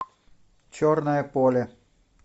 черное поле